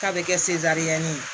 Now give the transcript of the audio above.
K'a bɛ kɛ seziyɛnni ye